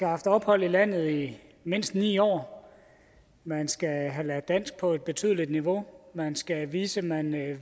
haft ophold i landet i mindst ni år man skal have lært dansk på et betydeligt niveau man skal vise at man